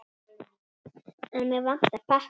En mig vantar pappír.